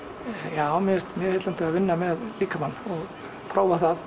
já mér finnst mjög heillandi að vinna með líkamann og prófa það